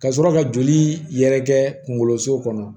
Ka sɔrɔ ka joli yɛrɛ kɛ kungolo so kɔnɔ